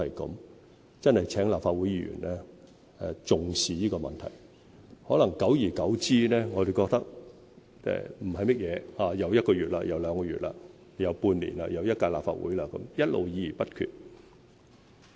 我真的請立法會議員重視這個問題，可能久而久之，我們覺得不是甚麼一回事，轉眼又一個月、又兩個月、又半年、又一屆立法會，一直議而不決。